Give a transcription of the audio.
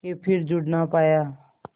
के फिर जुड़ ना पाया